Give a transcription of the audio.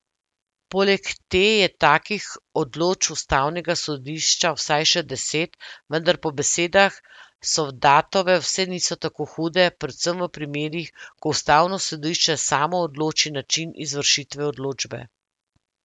Poleg te je takih odločb ustavnega sodišča vsaj še deset, vendar po besedah Sovdatove vse niso tako hude, predvsem v primerih, ko ustavno sodišče samo odloči način izvršitve odločbe.